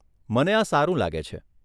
મને આ સારું લાગે છે.